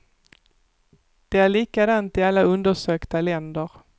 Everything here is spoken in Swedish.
Det är likadant i alla undersökta länder.